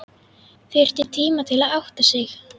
Þurfti tíma til að átta sig.